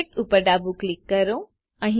object ઉપર ડાબું click કરો